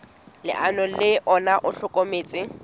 leano le ona o hlokometse